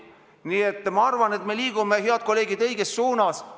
Nii et ma arvan, head kolleegid, et me liigume õiges suunas.